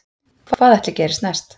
Hvað ætli gerist næst